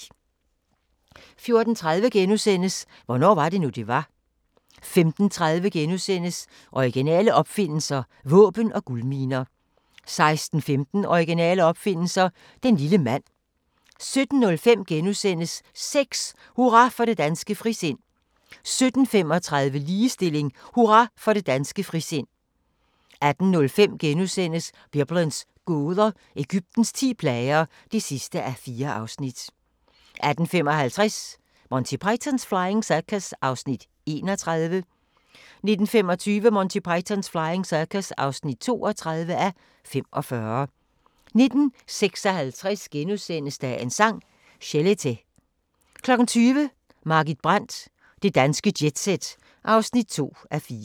14:30: Hvornår var det nu, det var? * 15:30: Originale opfindelser – våben og guldminer * 16:15: Originale opfindelser – den lille mand 17:05: Sex: Hurra for det danske frisind * 17:35: Ligestilling: Hurra for det danske frisind 18:05: Biblens gåder – Egyptens ti plager (4:4)* 18:55: Monty Python's Flying Circus (31:45) 19:25: Monty Python's Flying Circus (32:45) 19:56: Dagens Sang: Chelete * 20:00: Margit Brandt – Det danske jet-set (2:4)